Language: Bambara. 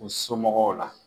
u somɔgɔw la.